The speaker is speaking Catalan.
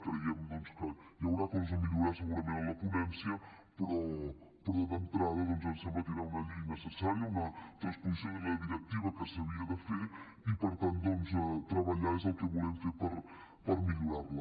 creiem doncs que hi haurà coses a millorar segurament en la ponència però d’entrada ens sembla que era una llei necessària una transposició de la directiva que s’havia de fer i per tant treballar és el que volem fer per millorar la